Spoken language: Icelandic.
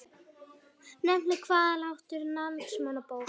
Nefnt Hvallátur í Landnámabók.